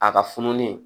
A ka funulen